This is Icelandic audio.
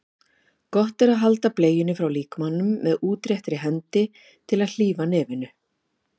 Gott er að halda bleiunni frá líkamanum með útréttri hendi til að hlífa nefinu.